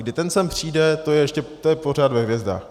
Kdy ten sem přijde, to je ještě pořád ve hvězdách.